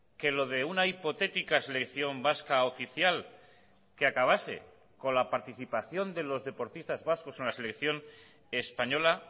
que lo de una hipotética selección vasca oficial que acabase con la participación de los deportistas vascos en la selección española